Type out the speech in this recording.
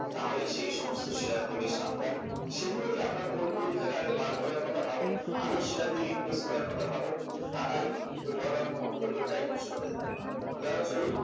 তাহলে সেই সমস্ত শেয়ার থেকে সাবধান সেগুলোকে আপনার portfolio থেকে আগে বার করার কথা ভাবুন ভালো শেয়ার দিয়ে replace করার কথা ভাবুন তা নাইলে কিন্তু over all portfolio টাই কিন্তু নষ্ট হয়ে যাবে উদাহরণ স্বরূপ